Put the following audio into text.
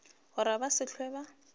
gore ba se hlwe ba